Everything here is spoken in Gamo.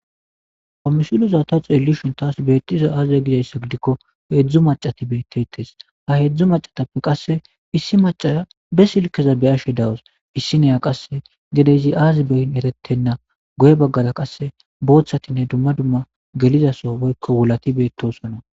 Ha missileza ta xeellishin taasi beettizay aaze gizayssa gidikko hedzdzu macati beettetes ha hedzdzu macatappe qasse issi macara be silkeza beyashe dawus issi neya qasse gedeyzi aazi beyn erettenna goye baggara qasse booththatinne dumma dumma gelizaso woykko wulati beettosonna.